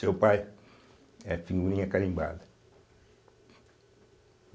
Seu pai é figurinha carimbada.